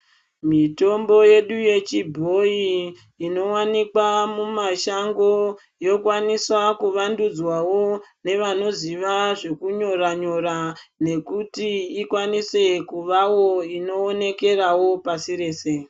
Mitombo yedu yechibhoyi inowanikwa mumashango yokwanisa kuvandudzwawo nevanoziva zvekunyora nyora nekuti ikwanise kuvawo inoonekerawo pasi rese.